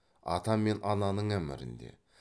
ата мен ананың әмірінде